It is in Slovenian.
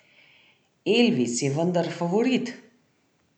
Elvis je vendar favorit!